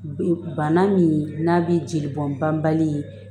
Bana min n'a bɛ jeli bɔn banbali ye